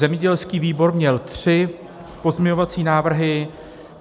Zemědělský výbor měl tři pozměňovací návrhy.